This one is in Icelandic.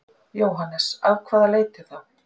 Jóhannes: Af hvaða leiti þá?